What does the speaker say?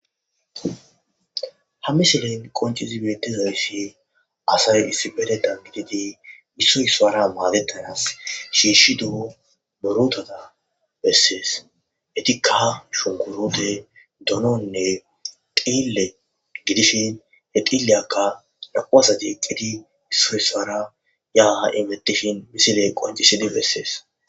Ha misilen qoncizibetizayssi asay issibededan bididi issoyspara maadetanas shiishi du'o borotata bessees hetikkaha shunkurode dononne qille gidishin he xiilleyakka naquasa jeeqqidi isso swara ya ha7imettishin misile qoncisidi bessees.